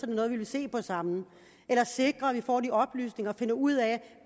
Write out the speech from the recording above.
det noget vi vil se på sammen eller sikre at vi får de oplysninger og finder ud af